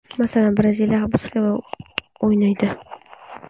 Masalan, Braziliya ham biz kabi o‘ynaydi.